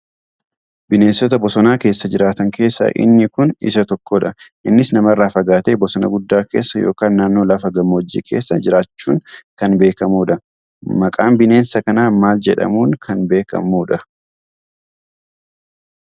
Bineensota bosonaa keessa jiraatan keessaa inni kun isa tokkodha. Innis namarraa fagaatee bosona guddaa keessa yookaan naannoo lafa gammoojjii keessa jiraachuun kan beekamudha. Maqaan bineensa kanaa maal jedhamuun kan beekamuudha?